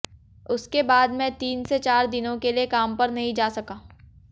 उसके बाद मैं तीन से चार दिनों के लिए काम पर नहीं जा सका